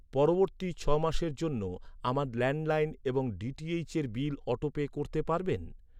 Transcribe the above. পরবর্তী ছ'মাসের জন্য আমার ল্যান্ডলাইন এবং ডিটিএইচয়ের বিল অটোপে করতে পারবেন?